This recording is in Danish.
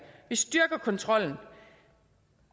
vi styrker kontrollen